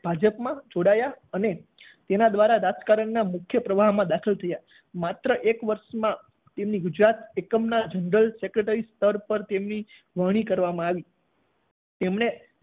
ભાજપમાં જોડાયા અને તેના દ્વારા રાજકારણના મુખ્ય પ્રવાહમાં દાખલ થયા. માત્ર એક વર્ષમાં તેમની ગુજરાત એકમના જનરલ સેક્રેટરી સ્તર પર તેમની વરણી કરવામાં આવી તેમણે